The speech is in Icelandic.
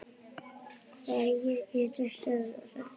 Hverjir geta stöðvað þetta?